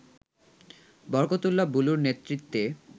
বরকতউল্লাহ বুলুর নেতৃত্বে